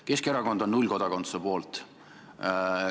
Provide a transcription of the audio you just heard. Keskerakond on nullkodakondsuse poolt.